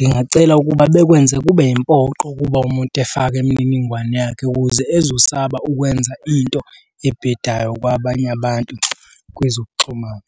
Ngingacela ukuba bekwenzeka kube yimpoqo ukuba umuntu efake imininingwane yakhe ukuze ezosaba ukwenza into ebhedayo kwabanye abantu kwezokuxhumana.